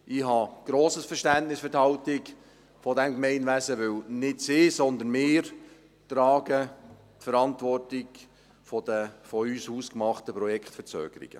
Ich habe grosses Verständnis für die Haltung dieses Gemeinwesens, denn nicht sie, sondern wir tragen die Verantwortung der von uns hausgemachten Projektverzögerungen.